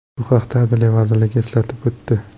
Bu haqda Adliya vazirligi eslatib o‘tdi .